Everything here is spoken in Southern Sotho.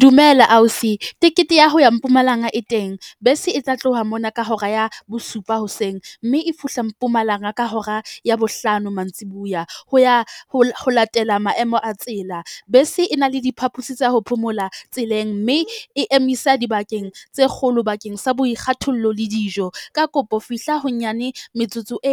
Dumela ausi, tekete ya ho ya Mpumalanga e teng bese e tla tloha mona ka hora ya bosupa hoseng mme e fihla Mpumalanga ka hora ya bohlano mantsibuya. Ho ya ho ho latela maemo a tsela bese e na le diphapusi tsa ho phomola tseleng. Mme e emisa dibakeng tse kgolo bakeng sa boikgathollo le dijo. Ka kopo fihla ho nyane metsotso e